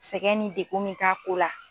Sɛgɛn ni dekun mɛ k'a ko la.